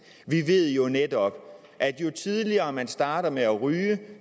vi ved jo netop at jo tidligere man starter med at ryge